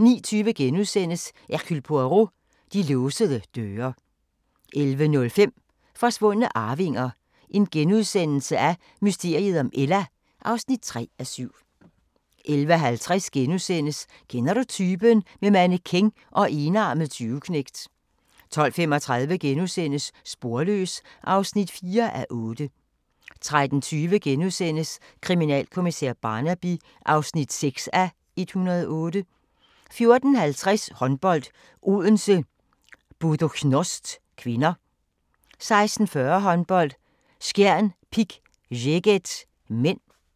09:20: Hercule Poirot: De låsede døre * 11:05: Forsvundne arvinger: Mysteriet om Ella (3:7)* 11:50: Kender du typen? - med mannequin og enarmet tyveknægt * 12:35: Sporløs (4:8)* 13:20: Kriminalkommissær Barnaby (6:108)* 14:50: Håndbold: Odense-Buducnost (k) 16:40: Håndbold: Skjern-Pick Szeged (m)